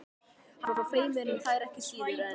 Hann er feiminn við þær ekki síður en